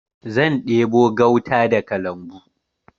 Zan ɗebo gauta daga lambu.